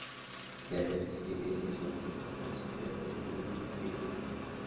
пятая серия сезон пятнадцать сериал темная материя